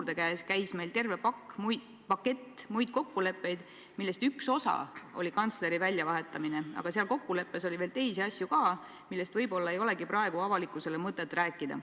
See kõlas nii, et selle ministri väljavahetamise juurde käis terve pakett muid kokkuleppeid, millest üks osa oli kantsleri väljavahetamine, aga seal kokkulepetes oli veel teisi asju ka, millest võib-olla ei olegi praegu mõtet avalikkusele rääkida.